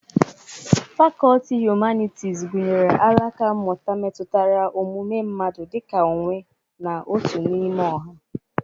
Fakọlti Hụmanịtịz gụnyere alaka mmụta metutere ọmụme mmadụ dị ka onwe na otu n'ime ọha.